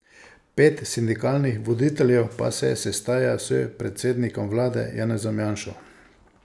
Pet sindikalnih voditeljev pa se sestaja s predsednikom vlade Janezom Janšo.